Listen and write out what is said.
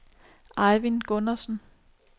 Ejvind Gundersen